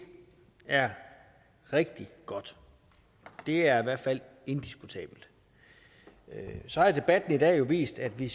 er rigtig godt det er i hvert fald indiskutabelt så har debatten i dag jo vist at vi